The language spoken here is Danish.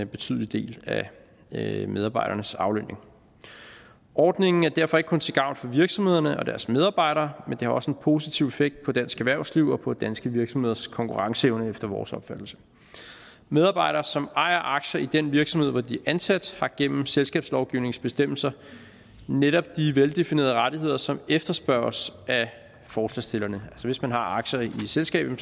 betydelig del af medarbejdernes aflønning ordningen er derfor ikke kun til gavn for virksomhederne og deres medarbejdere men har også en positiv effekt på dansk erhvervsliv og på danske virksomheders konkurrenceevne efter vores opfattelse medarbejdere som ejer aktier i den virksomhed hvor de er ansat har gennem selskabslovgivningens bestemmelser netop de veldefinerede rettigheder som efterspørges af forslagsstillerne så hvis man har aktier i et selskab